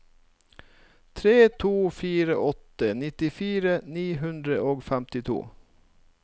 tre to fire åtte nittifire ni hundre og femtito